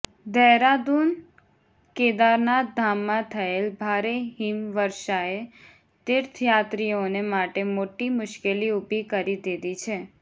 દહેરાદૂનઃ કેદારનાથ ધામમાં થયેલ ભારે હિમવર્ષાએ તીર્થયાત્રીઓને માટે મોટી મુશ્કેલી ઉભી કરી દીધી છે